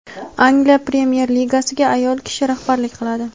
Angliya Premyer-Ligasiga ayol kishi rahbarlik qiladi.